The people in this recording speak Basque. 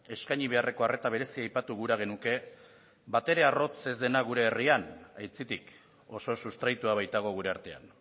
eskaini beharreko arreta berezia aipatu gura genuke batere arrotz ez dena gure herrian aitzitik oso sustraitua baitago gure artean